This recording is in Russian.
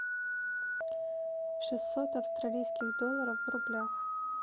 шестьсот австралийских долларов в рублях